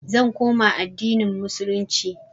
i will revert to islam